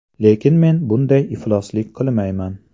Lekin men bunday ifloslik qilmayman.